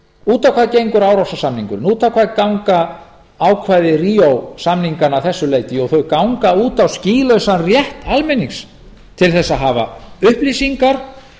út á hvað gengur ársósasamningurinn út á hvað ganga ákvæði ríó samninganna að þessu leyti jú þau ganga út á skýlausan rétt almennings til þess að hafa upplýsingar